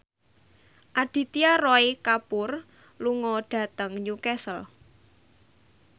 Aditya Roy Kapoor lunga dhateng Newcastle